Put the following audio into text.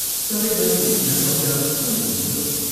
सधैँभरि यहाँ बसेर कैले हुन्थ्यो?